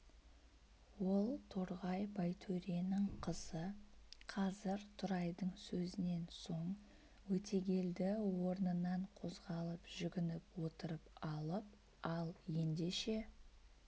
ол торғай байтөренің қызы қазір тұрайдың сөзінен соң өтегелді орнынан қозғалып жүгініп отырып алып ал ендеше